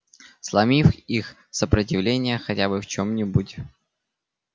сломив их сопротивление хотя бы в чем-нибудь